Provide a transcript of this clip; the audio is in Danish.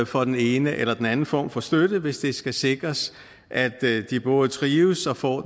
for den ene eller den anden form for støtte hvis det skal sikres at de både trives og får